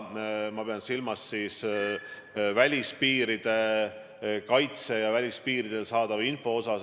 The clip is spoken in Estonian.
Ma pean silmas välispiiride kaitset ja välispiiridelt saadavat infot.